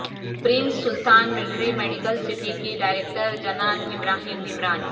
prince Sultan military medical city کی director Jinan Ibrahim Imran